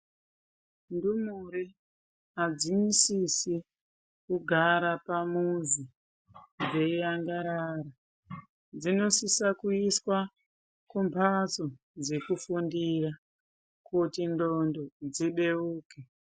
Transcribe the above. Ndumure hadzisise kugara pamuzi dzeiangarara dzinosisa kuiswe ku mbatso dzekufundira kunxlondo dzibeuke.